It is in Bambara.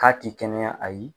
K'a ti kɛnɛya ayi.